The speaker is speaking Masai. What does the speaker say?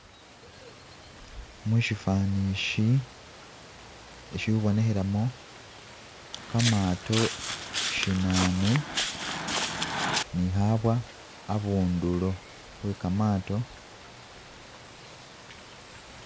Mushifani ishi ishihubonehelamo kamaato shinane ni habwa abundulo hwekamaato